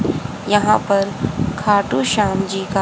यहां पर खाटू श्याम जी का--